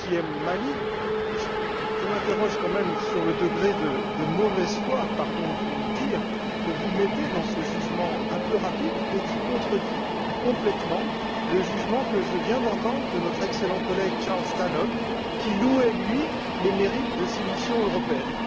EUTM Mali, je m'interroge quand même sur le degré de mauvaise foi pardon de vous le dire que vous mettez dans ce jugement un peu rapide et qui contredit complètement le jugement que je viens d'entendre de notre excellent collègue, Charles Tannock, qui louait, lui, les mérites de ces missions européennes.